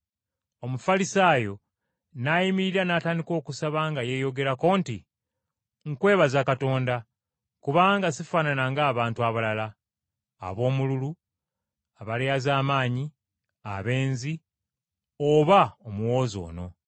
Omufalisaayo n’ayimirira n’atandika okusaba nga yeeyogerako nti, ‘Nkwebaza, Katonda, kubanga sifaanana ng’abantu abalala: ab’omululu, abalyazaamaanyi, abenzi, oba omuwooza ono.